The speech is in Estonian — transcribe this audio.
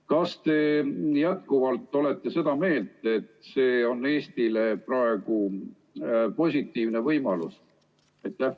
Kas te olete jätkuvalt seda meelt, et see on Eestile praegu positiivne võimalus?